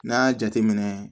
N'a y'a jateminɛ